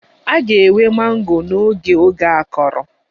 A ga-enwe mango n'oge oge akọrọ